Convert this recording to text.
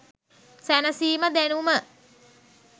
සැනසීම දැනුම